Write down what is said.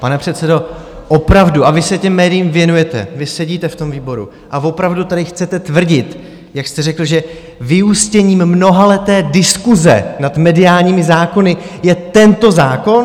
Pane předsedo, opravdu, a vy se těm médiím věnujete, vy sedíte v tom výboru, a opravdu tady chcete tvrdit, jak jste řekl, že vyústěním mnohaleté diskuse nad mediálními zákony je tento zákon?